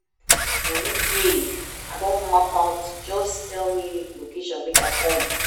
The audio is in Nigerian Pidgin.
Money dey, I don map am out just tell me location make I come